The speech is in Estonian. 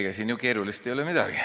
Ega siin keerulist ei ole midagi.